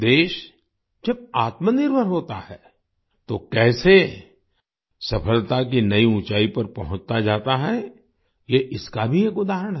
देश जब आत्मनिर्भर होता है तो कैसे सफलता की नई ऊँचाई पर पहुँचता जाता है ये इसका भी एक उदाहरण है